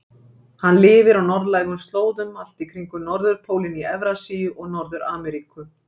Hann lifir á norðlægum slóðum allt í kringum norðurpólinn í Evrasíu og Norður-Ameríku.